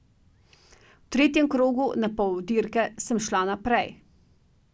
V tretjem krogu, na pol dirke, sem šla naprej.